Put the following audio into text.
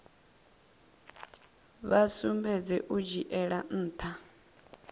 vha sumbedze u dzhiela ntha